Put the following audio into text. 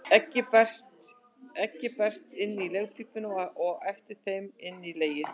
Eggið berst inn í legpípurnar og eftir þeim inn í legið.